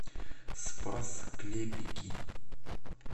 спас клепики